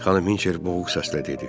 Xanım Hinçer boğuq səslə dedi.